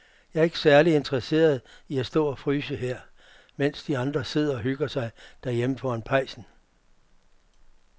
Jeg er ikke særlig interesseret i at stå og fryse her, mens de andre sidder og hygger sig derhjemme foran pejsen.